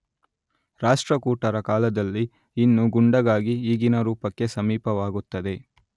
ರಾಷ್ಟ್ರಕೂಟರ ಕಾಲದಲ್ಲಿ ಇನ್ನೂ ಗುಂಡಗಾಗಿ ಈಗಿನ ರೂಪಕ್ಕೆ ಸಮೀಪವಾಗುತ್ತದೆ